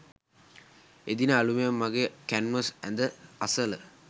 එදින අලූයම මගේ කැන්වස් ඇඳ අසල